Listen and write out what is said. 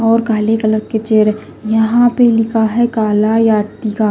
और काले कलर के चेहरे यहां पे लिखा है काला या टिका।